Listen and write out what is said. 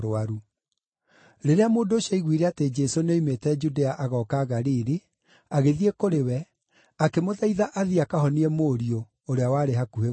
Rĩrĩa mũndũ ũcio aaiguire atĩ Jesũ nĩoimĩte Judea agooka Galili, agĩthiĩ kũrĩ we, akĩmũthaitha athiĩ akahonie mũriũ, ũrĩa warĩ hakuhĩ gũkua.